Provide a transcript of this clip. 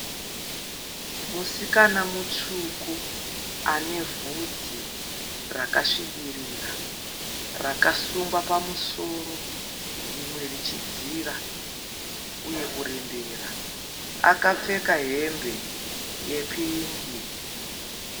Musikana mutsvuku ane vhudzi rakasvibirira rakasungwa pamusoro rimwe richidzira uye kurembera akapfeka hembe yepingi.